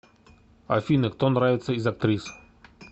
афина кто нравится из актрис